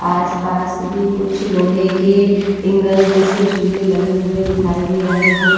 आस-पास भी कुछ लोहे के इंगल जैसे झूले लगे हुए दिखाई दे रहे हैं।